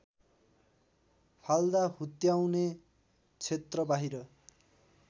फाल्दा हुत्याउने क्षेत्रबाहिर